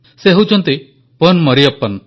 ସେ ହେଉଛନ୍ତି ପନ୍ ମରିୟପ୍ପନ୍